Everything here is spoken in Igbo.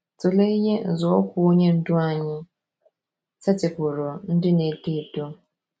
Tụlee ihe nzọụkwụ Onye Ndú anyị setịpụụrụ ndị na - eto eto.